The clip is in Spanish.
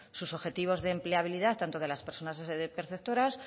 sus objetivos de empleabilidad tanto de las personas perceptoras